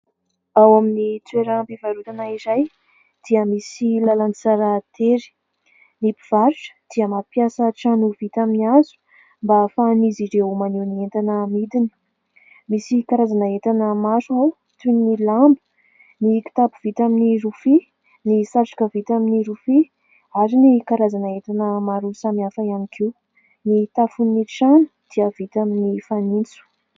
Ao amin'ny toeram-pivarotana iray dia misy lalantsara tery. Ny mpivarotra dia mampiasa trano vita amin'ny hazo mba ahafahan'izy ireo maneho ny entana amidiny. Misy karazana entana maro ao toy ny lamba, ny kitapo vita amin'ny rofia, ny satroka vita amin'ny rofia ary ny karazana entana maro samihafa ihany koa. Ny tafon'ny trano dia vita amin'ny fanitso.